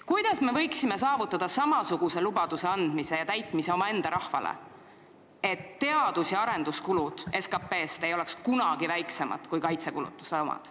Kuidas me võiksime saavutada samasuguse lubaduse andmist omaenda rahvale – ja selle täitmist –, et teadus- ja arenduskulude osa SKP-s ei oleks kunagi väiksem kui kaitsekulutuste osa?